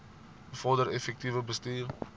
bevorder effektiewe bestuur